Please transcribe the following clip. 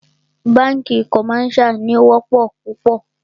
Bánkì commercial ní o wọ́pọ̀ púpọ̀.